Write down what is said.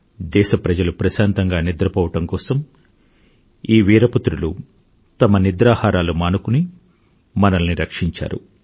దేశప్రజలు ప్రశాంతంగా నిద్ర పోవడం కోసం ఈ వీరపుత్రులు తమ నిద్రాహారాలు మానుకుని మనల్ని రక్షించారు